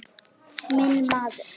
Minn maður!